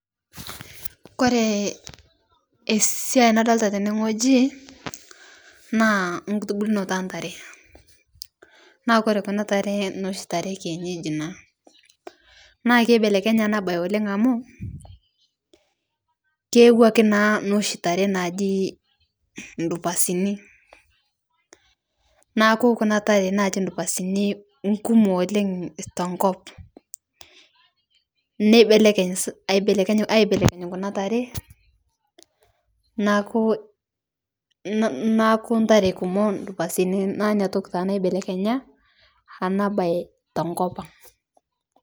Kore esiai nadolita tene ng'oji naa nkutubulnoto entare naa kore kuna taree naa noshi taree ekienyeji naa, naa keibelekenye ana bai oleng' amu keewaki naa noshi taree naji ndupasini naaku kuna tare naji ndupasini kumo oleng' tenkop neibelekeny aibelekeny kuna taree naaku, naaku ntaree kumoo ndupasini naa inia toki taa naibelenya ana bai tenkopang'